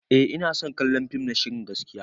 Eh ina son kallon fim na shirin gaskiya.